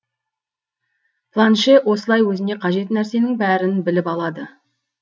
планше осылай өзіне қажет нәрсенің бәрін біліп алады